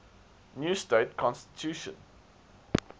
new state constitution